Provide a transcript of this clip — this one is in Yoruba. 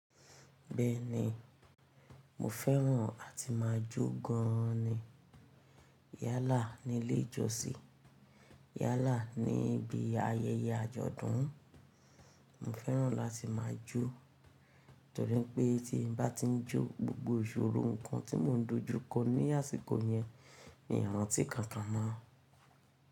Bẹ́ẹ̀ ni, mo fẹ́ràn àti máa jó gan ni. Yálà ni ilé ìjọsìn, yálà ni ibi ayẹyẹ àjọ̀dún. Mo fẹ́ràn láti máa jó torí pé tí bá ti ń jó, gbogbo ìṣòro ǹkan tí mò ń dojú kọ ní àsìkò yẹn miìrántí kankan mọ́.